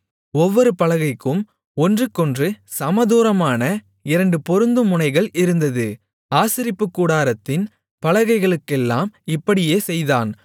ஒவ்வொரு பலகைக்கும் ஒன்றுக்கொன்று சமதூரமான இரண்டு பொருந்தும் முனைகள் இருந்தது ஆசரிப்புக்கூடாரத்தின் பலகைகளுக்கெல்லாம் இப்படியே செய்தான்